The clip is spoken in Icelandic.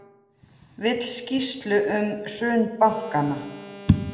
Vill skýrslu um hrun bankanna